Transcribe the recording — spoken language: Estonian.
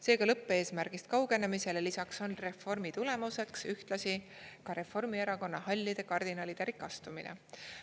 Seega lõppeesmärgist kaugenemisele lisaks on reformi tulemuseks ühtlasi ka Reformierakonna hallide kardinalide rikastumine.